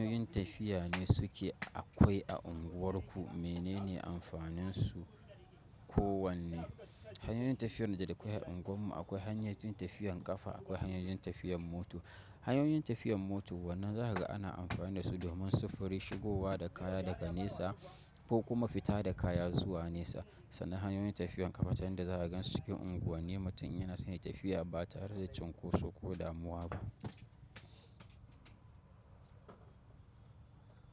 Hanyoyin tafiya ne suke akwai a unguwarku, menene amfanin su kowanne? Hanyoyin tafiyar da akwai a unguwar mu akwai hanyoyin tafiyan kafa, akwai hanyoyin tafiyan mota. Hanyoyin tafiyan mota wannan zakaga ana amfani da su domin sufuri shigowa da kaya daga nesa ko kuma fita da kaya zuwa nesa. Sannan hanyoyin tafiyan ƙafa ta yan da zaka gansu cikin unguwanni mutum in yana son yai tafiya ba tare da cunkoso ko damuwa ba.